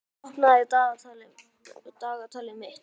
Dilja, opnaðu dagatalið mitt.